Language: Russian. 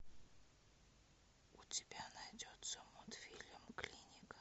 у тебя найдется мультфильм клиника